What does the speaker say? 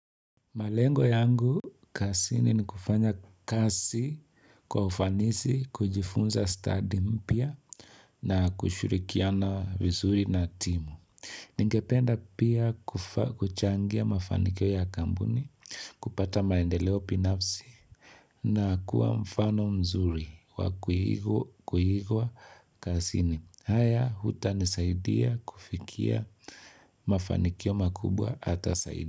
Malengo yangu kazini ni kufanya kazi kwa ufanisi, kujifunza stadi mpya na kushirikiana vizuri na timu. Ningependa pia kuchangia mafanikio ya kampuni, kupata maendeleo binafsi na kuwa mfano mzuri wa kuigwa kazini. Haya yatanisaidia kufikia mafanikio makubwa hata zaidi.